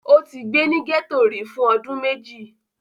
Ó ti gbé ní gẹ́tò rí fún ọdún méjì?